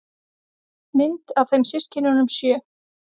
Mynd af þeim systkinunum sjö.